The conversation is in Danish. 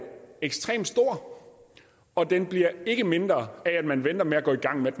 ekstremt stor og den bliver ikke mindre af at man venter med at gå i gang med at